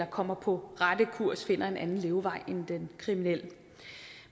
kommer på ret kurs og finder en anden levevej end den kriminelle